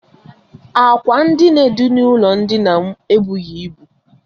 Ákwà ndina dị n'ụlọ ndina m ebughi ịbụ.